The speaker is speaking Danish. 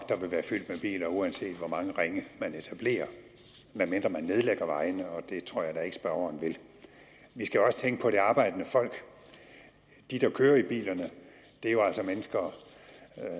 der vil være fyldt med biler uanset hvor mange ringe man etablerer medmindre man nedlægger vejene og det tror jeg da ikke at spørgeren vil vi skal også tænke på det arbejdende folk de der kører i bilerne er jo altså mennesker